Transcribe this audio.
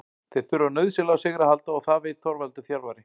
Þeir þurfa nauðsynlega á sigri að halda og það veit Þorvaldur þjálfari.